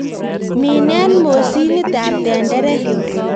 Minen mosinitab tenderek.